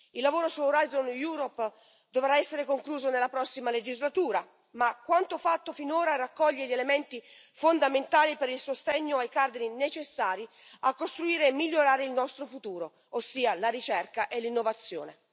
Il lavoro su Orizzonte Europa dovrà essere concluso nella prossima legislatura, ma quanto fatto finora raccoglie gli elementi fondamentali per il sostegno ai cardini necessari a costruire e migliorare il nostro futuro, ossia la ricerca e l'innovazione.